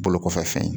Bolo kɔfɛ fɛn ye